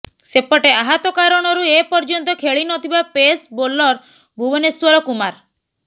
ସେପଟେ ଆହତ କାରଣରୁ ଏପର୍ଯ୍ୟନ୍ତ ଖେଳି ନଥିବା ପେସ୍ ବୋଲର ଭୁବନେଶ୍ୱର କୁମାର